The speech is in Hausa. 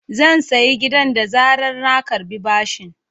Zan sayi gidan da zarar na karɓi bashin.